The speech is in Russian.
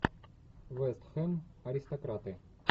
вест хэм аристократы